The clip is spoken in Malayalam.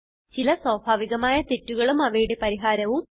ചില സ്വാഭാവികമായ തെറ്റുകളും അവയുടെ പരിഹാരവും